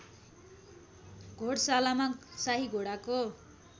घोडशालामा शाही घोडाको